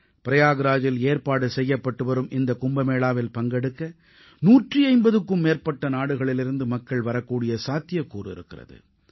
பிரயாக்ராஜில் ஏற்பாடு செய்யப்பட்டுவரும் இந்த கும்பமேளாவில் பங்கெடுக்க 150க்கும் மேற்பட்ட நாடுகளிலிருந்து மக்கள் வரக்கூடிய சாத்தியக்கூறு இருக்கிறது